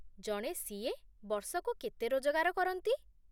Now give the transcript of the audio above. ଜଣେ ସି.ଏ. ବର୍ଷକୁ କେତେ ରୋଜଗାର କରନ୍ତି?